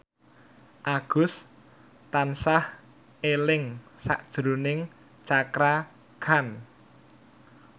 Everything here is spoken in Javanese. Agus tansah eling sakjroning Cakra Khan